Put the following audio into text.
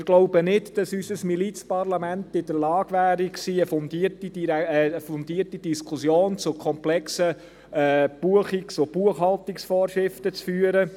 Wir glauben nicht, dass unser Milizparlament in der Lage gewesen wäre, eine fundierte Diskussion zu komplexen Buchungs- und Buchhaltungsvorschriften zu führen.